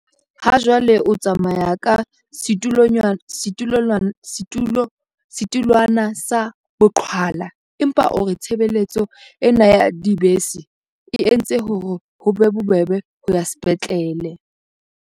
Hajwale o tsamaya ka setulwana sa boqhwala empa o re tshebeletso ena ya dibese e entse hore ho be bobebe ho ya sepetlele.